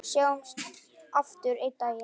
Sjáumst aftur einn daginn.